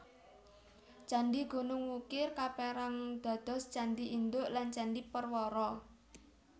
Candhi Gunung Wukir kaperang dados candhi induk lan candhi perwara